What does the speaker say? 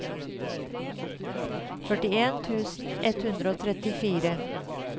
førtien tusen ett hundre og trettifire